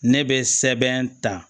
Ne bɛ sɛbɛn ta